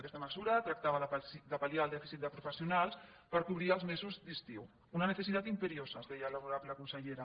aquesta mesura tractava de pal·liar el dèficit de profes·sionals per cobrir els mesos d’estiu una necesidad imperiosa ens deia l’honorable consellera